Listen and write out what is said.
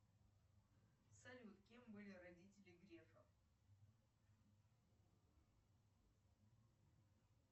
салют кем были родители грефа